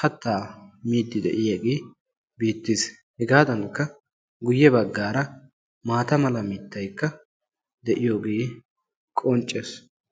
kattaa miiddi de'iyaagee beettees. hegaadankka guye baggaara maata mala mittayikka de'iyoogee qonccees.